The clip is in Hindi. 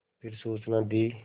फिर सूचना दी